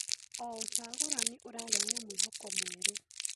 O ũcagũrani ũrehaga mwĩhoko mwerũ.